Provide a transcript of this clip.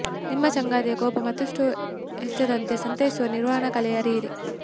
ನಿಮ್ಮ ಸಂಗಾತಿಯ ಕೋಪ ಮತ್ತಷ್ಟು ಹೆಚ್ಚದಂತೆ ಸಂತೈಸುವ ನಿರ್ವಹಣಾ ಕಲೆ ಅರಿಯಿರಿ